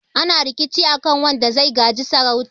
ana rikici a kan wanda zai gaji sarautar